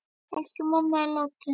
Elsku mamma er látin.